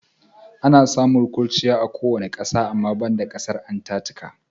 Ana samun kurchiya a kowane ƙasa ama banda ƙasar Antatika.